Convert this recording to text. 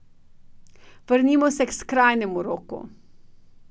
Vrnimo se k skrajnemu roku.